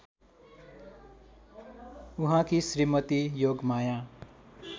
उहाँकी श्रीमती योगमाया